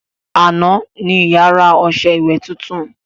Àná ní ìyá rà ọṣẹ ìwẹ̀ titun